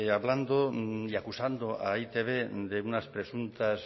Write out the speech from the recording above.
hablando y acusando a e i te be de unas presuntas